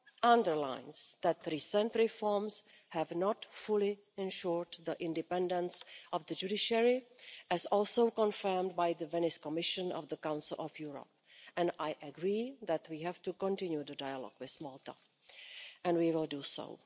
underlines that recent reforms have not fully ensured the independence of the judiciary, as also confirmed by the Venice Commission of the Council of Europe, and I agree that we have to continue the dialogue with Malta, and we will do so.